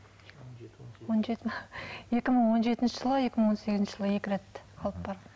екі мың он жетінші жылы екі мың он сегізінші жылы екі рет алып барды